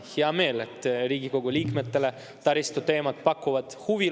Mul on hea meel, et Riigikogu liikmetele taristu teemad pakuvad huvi.